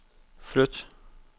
flyt